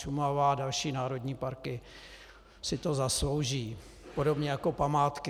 Šumava a další národní parky si to zaslouží, podobně jako památky.